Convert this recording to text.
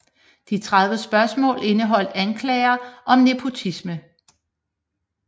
De 30 spørgsmål indeholdt anklager om nepotisme